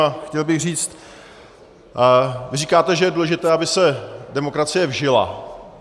A chtěl bych říct: Vy říkáte, že je důležité, aby se demokracie vžila.